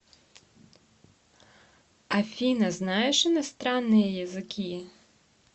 афина знаешь иностранные языки